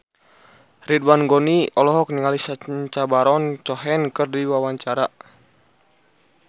Ridwan Ghani olohok ningali Sacha Baron Cohen keur diwawancara